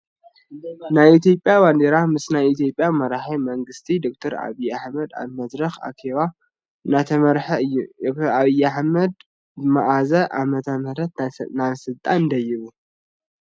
ናይ ኢትዮጰያ ባንዴራ ምስ ናይ ኢትዮጰያ መራሒ መንግስቲ ደ/ር ኣብይ ኣሕመድ ኣብ መድረክ ኣኬባ እንዳመረሐ እዩ። ዶ/ር ኣብይ ኣሕመድ ብመዓስ ዓመተምህረት ናብ ስልጣን ደይቡ ?